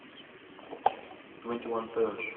твенти ван севедж